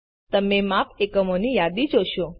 તમે માપ એકમોની યાદી જોશો